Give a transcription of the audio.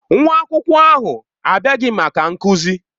Nwa akwụkwọ ahụ abịaghị maka nkuzi.